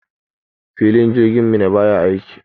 Filin jirgin Minna baya aiki.